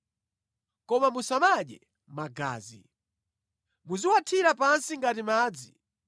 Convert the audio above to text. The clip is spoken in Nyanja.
Koma musamadye magazi. Muziwathira pansi ngati madzi.